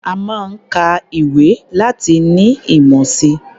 A máa ń ka ìwé láti ní ìmọ̀ si.